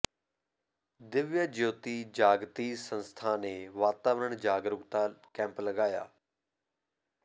ਦਿਵਯ ਜਯੋਤੀ ਜਾਗ੍ਤੀ ਸੰਸਥਾ ਨੇ ਵਾਤਾਵਰਨ ਜਾਗਰੂਕਤਾ ਕੈਂਪ ਲਗਾਇਆ